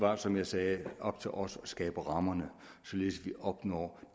er som jeg sagde op til os at skabe rammerne således at vi opnår